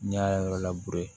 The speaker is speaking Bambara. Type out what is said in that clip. N'i y'a yɔrɔ